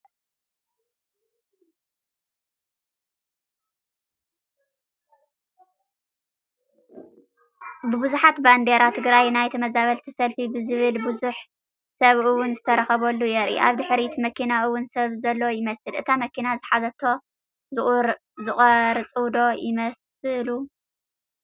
ብቡዙሕ ባንዴራ ትግራይ ናይ ተመዛበልቲ ሰልፊ ብዝብል ብዙሕ ሰብ ውን ዝተረኸበሉ የርኢ፡፡ ኣብ ድሕሪት መኪና ውን ሰብ ዘሎ ይመስል፡፡ እታ መኪና ዝሓዘቶም ዝቐርፁ ዶ ይመስሉ?